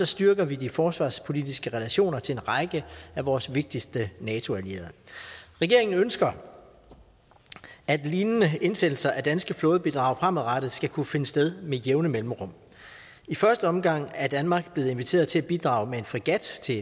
styrker vi de forsvarspolitiske relationer til en række af vores vigtigste nato allierede regeringen ønsker at lignende indsættelser af danske flådebidrag fremadrettet skal kunne finde sted med jævne mellemrum i første omgang er danmark blevet inviteret til at bidrage med en fregat til